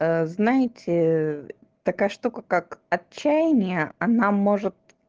знаете такая штука как отчаянии она может